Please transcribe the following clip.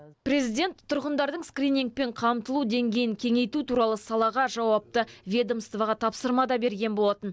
президент тұрғындардың скринингпен қамтылу деңгейін кеңейту туралы салаға жауапты ведомствоға тапсырма да берген болатын